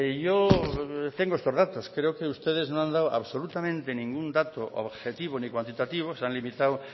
yo tengo estos datos creo que ustedes no han dado absolutamente ningún dato objetivo ni cuantitativo se han limitado